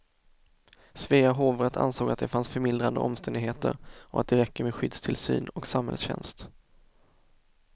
Svea hovrätt ansåg att det fanns förmildrande omständigheter och att det räcker med skyddstillsyn och samhällstjänst.